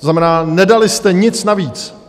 To znamená, nedali jste nic navíc.